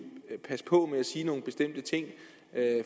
passe på med at sige nogle bestemte ting